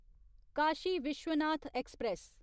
Kashi Vishwanath express